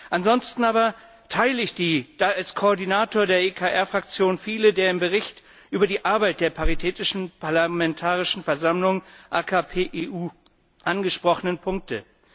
Ansonsten aber teile ich als Koordinator der ECR Fraktion viele der im Bericht über die Arbeit der Paritätischen Parlamentarischen Versammlung AKP EU angesprochenen Punkte.